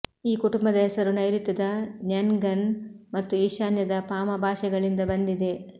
ಈ ಕುಟುಂಬದ ಹೆಸರು ನೈರುತ್ಯದ ನ್ಯನ್ಗನ್ ಮತ್ತು ಈಶಾನ್ಯದ ಪಾಮ ಭಾಷೆಗಳಿಂದ ಬಂದಿದೆ